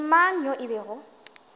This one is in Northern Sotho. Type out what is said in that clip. le mang yo e bego